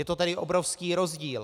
Je to tedy obrovský rozdíl.